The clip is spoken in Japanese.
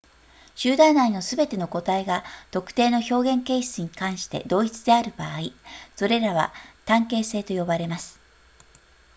集団内のすべての個体が特定の表現形質に関して同一である場合それらは単形性と呼ばれます